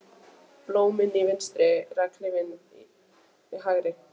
Blómin í vinstri, regnhlíf í hægri.